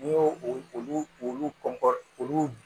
N'i y'o olu olu olu olu